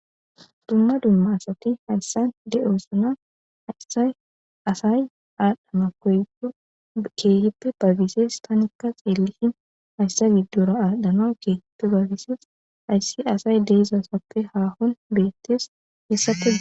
Dumma dumma asati hayssan de'osana asay asay aadhdhama koyo keehippe baybisees tanikka xeellihin hayssa giddura aadano keehippe bayfisees hayssi asay deeizasappe haahon beettees hessa kode.